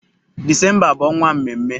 Disemba bụ ọnwa mmemme.